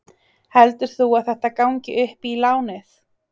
Heldur þú að þetta gangi upp í lánið?